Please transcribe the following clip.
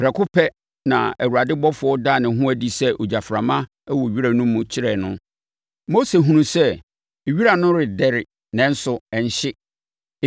Prɛko pɛ, na Awurade ɔbɔfoɔ daa ne ho adi sɛ gyaframa wɔ wira no mu kyerɛɛ no. Mose hunuu sɛ wira no redɛre nanso na ɛnhye.